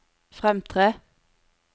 fremtre